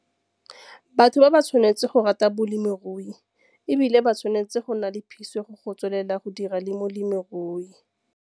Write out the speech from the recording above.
Batho ba ba tshwanetse go rata bolemirui e bile ba tshwanetse go nna le phisego go tswelela go dira le molemirui.